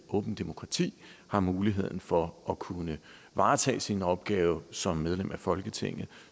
åbent demokrati har muligheden for at kunne varetage sin opgave som medlem af folketinget